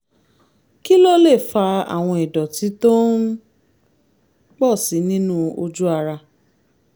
kí ló lè fa àwọn ìdọ̀tí tó ń pọ̀ sí i nínú ojú ara?